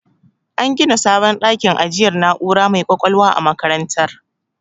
An gina sabon dakin ajiyar na'ura mai ƙwaƙwalwa a makarantar.